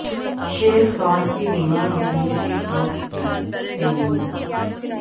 شیر خوار کے بیمار ہونے کے خوف سے تیمم